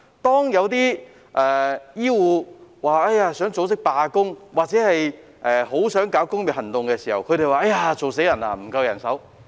當有醫護人員想組織罷工或發起工業行動時，他們又說"做死人"，指責人手不夠。